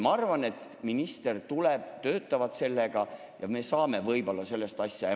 Ma arvan, et minister tuleb sinna, nad töötavad sellega ja me saame võib-olla sellest eelnõust asja.